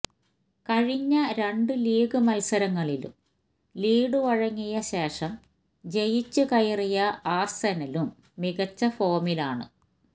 കഴിഞ്ഞ രണ്ടു ലീഗ് മത്സരങ്ങളിലും ലീഡു വഴങ്ങിയ ശേഷം ജയിച്ചു കയറിയ ആര്സെനലും മികച്ച ഫോമിലാണ്